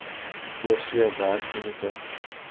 oorsee werk unieke